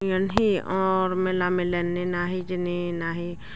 yan hi or mela milen nenahi hijeni nahi.